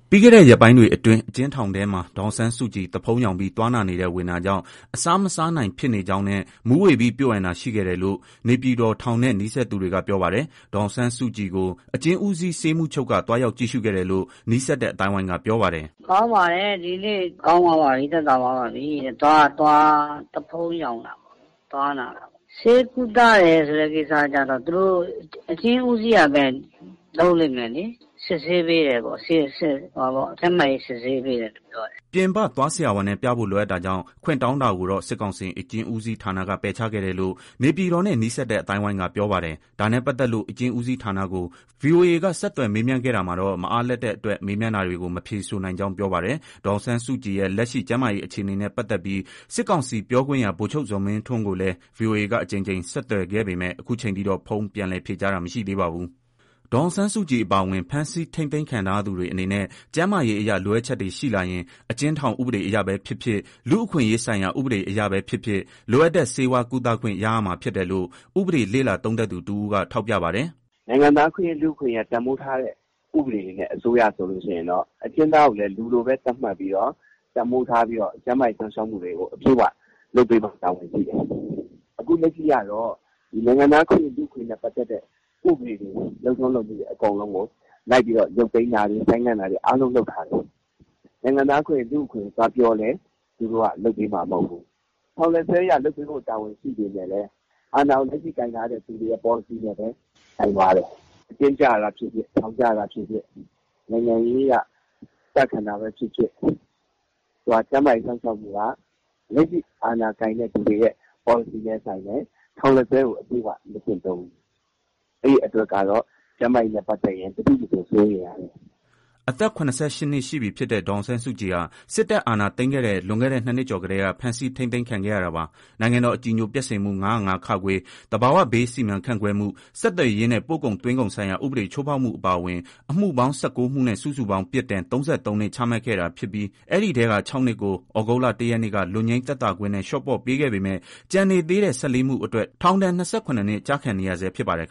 ပြီးခဲ့တဲ့ ရက်ပိုင်းတွေအတွင်း အကျဥ်းထောင်ထဲမှာ ဒေါ်အောင်ဆန်းစုကြည် သွားဖုံးယောင်ပြီး သွားနာနေတဲ့ ဝေဒနာကြောင့် အစားမစားနိုင် ဖြစ်နေကြောင်းနဲ့ မူးဝေပြီး ပျို့အန်တာ ရှိခဲ့တယ်လို့ နေပြည်တော် ထောင်နဲ့နီး စပ်သူတွေက ပြောပါတယ်။ ဒေါ်အောင်ဆန်းစုကြည်ကို အကျဉ်းဦးစီး ဆေးမှူးချုပ်က သွားရောက် ကြည့်ရှုခဲ့တယ်လို့ နီးစပ်တဲ့ အသိုင်းအဝိုင်းက ပြောပါတယ်။ "ကောင်းပါတယ်။ သက်သာသွားပြီတဲ့။ သွားနာတာ သွားဖုံးယောင်တာပေါ့။ ဆေးကုသတယ် ဆိုတာက အကျဉ်းဦးစီးကပဲ လုပ်လိမ့်မယ်လေ။ စစ်ဆေးပေးတယ်။ ကျန်းမာရေး စစ်ဆေးပေးတယ် ပြောတယ်။" ပြင်ပသွားဆရာဝန်နဲ့ ပြဖို့ လိုအပ်တာကြောင့် ခွင့်တောင်းတာကိုတော့ စစ်ကောင်စီ အကျဥ်းဦးစီးဌာနက ပယ်ချခဲ့တယ်လို့ နေပြည်တော်နဲ့ နီးစပ်တဲ့ အသိုင်းအဝိုင်းက ပြောပါတယ်။ ဒါနဲ့ပတ်သတ်လို့ အကျဉ်းဦးစီးဌာနကို ဗွီအိုအေက ဆက်သွယ် မေးမြန်းခဲ့တာမှာတော့ မအားလပ်တဲ့အတွက် မေးမြန်းတာတွေကို မဖြေဆိုနိုင်ကြောင်း ပြောပါတယ်။ ဒေါ်အောင်ဆန်းစုကြည်ရဲ့ လက်ရှိ ကျန်းမာရေးအခြေအနေနဲ့ ပတ်သက်ပြီး စစ်ကောင်စီပြောခွင့်ရ ဗိုလ်ချုပ်ဇော်မင်းထွန်းကိုလည်း ဗွီအိုအေကအကြိမ်ကြိမ် ဆက်သွယ်ခဲ့ပေမဲ့ ခုချိန်ထိတော့ ဖုန်း ပြန်လည် ဖြေကြားတာ မရှိသေးပါဘူး။ ဒေါ်အောင်ဆန်းစုကြည် အပါအဝင် ဖမ်းဆီး ထိန်းသိမ်းခံထားရသူတွေ အနေနဲ့ ကျန်းမာရေးအရ လိုအပ်ချက်တွေ ရှိလာရင် အကျဉ်းထောင် ဥပဒေအရပဲဖြစ်ဖြစ်၊ လူ့အခွင့်အရေးဆိုင်ရာ ဥပဒေတွေအရပဲ ဖြစ်ဖြစ် လိုအပ်တဲ့ ဆေးဝါး ကုသခွင့် ရ ရမှာဖြစ်တယ်လို့ ဥပဒေလေ့လာ သုံးသပ်သူ တဦးက ခုလို ထောက်ပြပါတယ်။ "နိုင်ငံသားအခွင့်အရေး၊ လူ့အခွင့်အရေး တန်ဖိုးထားတဲ့ အစိုးရဆိုရင်တော့ အကျဉ်းသားကို လူလိုပဲ သတ်မှတ်ပြီးတော့ ကျန်းမာရေး စောင့်ရှောက်မှုတွေကို အပြည့်အဝ လုပ်ပေးဖို့ တာဝန်ရှိတယ်။ အခု လက်ရှိကတော့ နိုင်ငံသားအခွင့်အရေးနဲ့ ပတ်သတ်တဲ့ ဥပဒေတွေ၊ လုပ်ထုံးလုပ်နည်း အကုန်လုံးကို ရုတ်သိမ်းတာ ကန့်သတ်တာ အားလုံး လုပ်ထားတယ်။ နိုင်ငံသားအခွင့်အရေး၊ လူ့အခွင့်အရေး ပြောလည်း လုပ်ပေးမှာမဟုတ်ဘူး။ ထောင်လက်စွဲအရ လုပ်ပေးဖို့ တာဝန်ရှိပေမဲ့လည်း အာဏာကို လက်ရှိ ကိုင်ထားသူတွေနဲ့ပဲ ဆိုင်သွားတယ်။ အကျဉ်းကျတာဖြစ်ဖြစ်၊ ထောင်ကျတာဖြစ်ဖြစ်၊ နိုင်ငံရေးအရ ကျခံတာပဲဖြစ်ဖြစ် ကျန်းမာရေးစောင့်ရှောက်မှုက လက်ရှိ အာဏာကိုင်တဲ့သူတွေ လက်ထဲရှိတယ်။ ထောင်လက်စွဲကို မကျင့်သုံးနေဘူး။ အဲတော့ ကျန်းမာရေး စောင့်ရှောက်မှုနဲ့ပတ်သတ်ရင် အလွန့်အလွန် စိုးရိမ်ရတယ်။" အသက် ၇၈ နှစ်ရှိပြီဖြစ်တဲ့ ဒေါ်အောင်ဆန်းစုကြည်ဟာ စစ်တပ်အာဏာသိမ်းခဲ့တဲ့ လွန်ခဲ့တဲ့ ၂ နှစ်ကျော်ကတည်းက ဖမ်းဆီး ထိန်းသိမ်း ခံခဲ့ရတာပါ။ နိုင်ငံတော် အကြည်ညိုပျက်စေမှု ၅၀၅ (ခ)၊ သဘာဝဘေး စီမံခန့်ခွဲမှု၊ ဆက်သွယ်ရေးနဲ့ ပို့ကုန်သွင်းကုန်ဆိုင်ရာ ဥပဒေ ချိုးဖောက်မှု အပါအဝင် အမှုပေါင်း ၁၉ မှုနဲ့ စုစုပေါင်း ပြစ်ဒဏ် ၃၃ နှစ် ချတ်မှတ်ခဲ့တာ ဖြစ်ပြီး အဲ့ဒီအထဲက ၆ နှစ်ကို သြဂုတ်လ ၁ ရက်နေ့က လွတ်ငြိမ်း သက်သာခွင့်နဲ့ လျှော့ပေါ့ပေးခဲ့ပေမဲ့ ကျန်နေသေးတဲ့ ၁၄ မှု အတွက် ထောင်ဒဏ်က ၂၇ နှစ် ကျခံနေရဆဲ ဖြစ်ပါတယ်